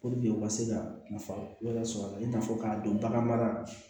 u ka se ka nafa wɛrɛ sɔr'a la i n'a fɔ k'a dɔn bagan mara